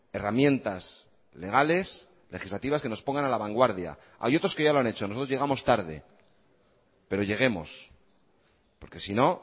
herramientas legales legislativas que nos pongan a la vanguardia hay otros que ya lo han hecho nosotros llegamos tarde pero lleguemos porque si no